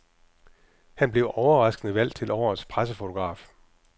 Han blev overraskende valgt til årets pressefotograf.